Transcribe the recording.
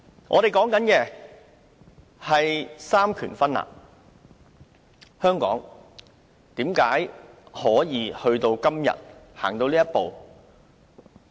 我們說"三權分立"，香港為甚麼可以走到今天這一步？